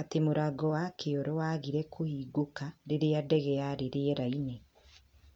ati mũrango wa kĩoro wagire kũhingũka riria ndege yarĩ rĩera-inĩ